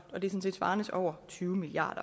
det svarer til over tyve milliard